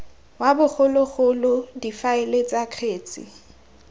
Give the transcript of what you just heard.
wa bogologolo difaele tsa kgetse